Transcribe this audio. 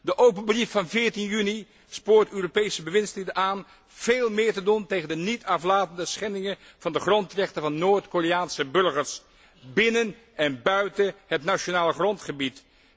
De open brief van 14 juni spoort Europese bewindslieden aan veel meer te doen tegen de niet aflatende schendingen van de grondrechten van Noord Koreaanse burgers binnen en buiten het nationale grondgebied.